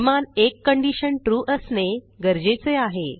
किमान एक condition true असणे गरजेचे आहे